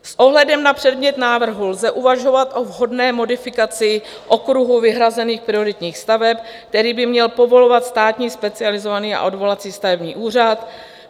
S ohledem na předmět návrhu lze uvažovat o vhodné modifikaci okruhu vyhrazených prioritních staveb, který by měl povolovat státní specializovaný a odvolací stavební úřad.